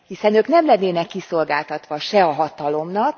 Hiszen ők nem lennének kiszolgáltatva a hatalomnak.